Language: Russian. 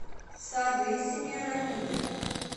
сады семирамиды